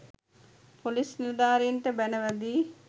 police නිලධාරීන්ට බැණ වැදී